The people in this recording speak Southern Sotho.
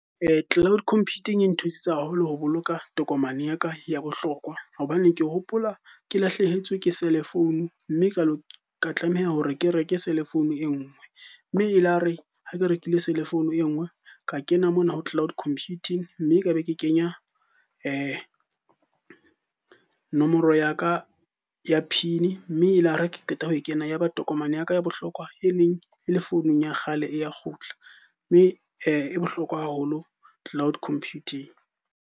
Cloud Computing e nthusitse haholo ho boloka tokomane ya ka ya bohlokwa. Hobane ke hopola ke lahlehetswe ke cellphone, mme ka tlameha hore ke reke cellphone e nngwe. Mme e la re ha ke rekile cellphone e nngwe, ka kena mona ho cloud computing. Mme ka be ke kenya nomoro ya ka ya PIN, mme elare ha ke qeta ho e kena ya ba tokomane ya ka ya bohlokwa e neng e le founung ya kgale e ya kgutla. Mme e bohlokwa haholo cloud computing.